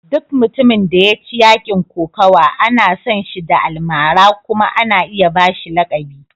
Duk mutumin da ya ci yakin kokawa ana san shi da almara kuma ana iya ba shi lakabi.